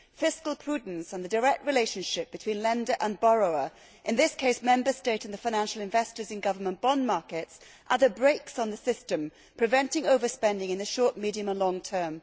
Fiscal prudence and the direct relationship between lender and borrower, in this case the Member State and the financial investors in government bond markets, are the brakes on the system, preventing overspending in the short, medium, and long term.